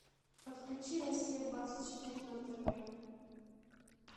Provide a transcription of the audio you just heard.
подключи россия двадцать четыре на тв